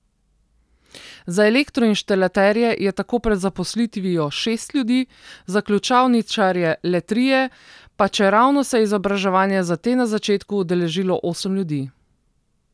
Za elektroinštalaterje je tako pred zaposlitvijo šest ljudi, za ključavničarje le trije, pa čeravno se je izobraževanja za te na začetku udeležilo osem ljudi.